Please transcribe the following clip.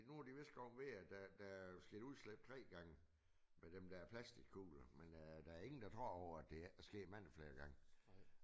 Nu er de vist kommet ved at der der sket udslip 3 gange med dem der plastikkugler men der er ingen der tror på at det ikke er sket mange flere gange